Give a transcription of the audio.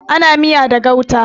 Ana miya da gauta.